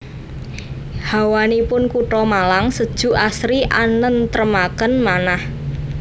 Hawanipun kuto Malang sejuk asri anentremaken manah